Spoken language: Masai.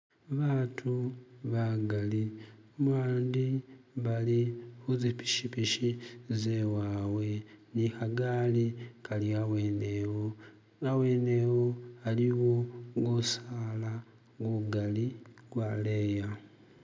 Batu bagali bandi bali kuzipichipichi zewawe ni khagali kali habwenewo hawenewo haliwo gusaala gugali gwaleya